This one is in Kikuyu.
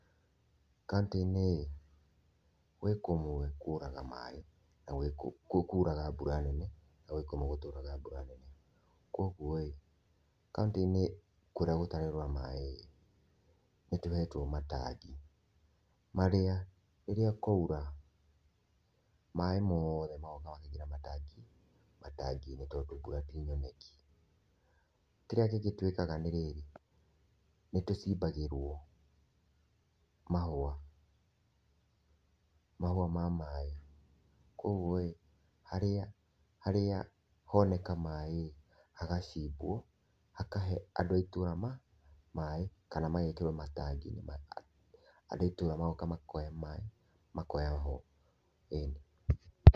Kauntĩ-ĩnĩ gwĩ kũmwe kũraga maĩĩ na gwĩ kũraga mbura nene na gwĩ kũmwe gũtauraga mbura nene kwa ũgũo kauntĩ-ĩnĩ kũrĩa gũtaraura maĩĩ nĩtũhetwo matangi marĩa rĩrĩa kwaũra maĩĩ mothe magoka makaingĩra matangi-ĩnĩ tondũ mbũra tĩ nyoneki. Kĩrĩa kĩngĩ twĩkaga nĩ rĩrĩ nĩtũcimbagĩrwo mahwa, mahwa ma maĩĩ , kwa ũgũo harĩa, harĩa honeka maĩĩ hagacimbwo hakahe andũ a itũra maíĩ kana amagekĩrwo matangi-ĩnĩ , andũ a itũra magoka makoya maĩĩ, makoya ho, ĩni.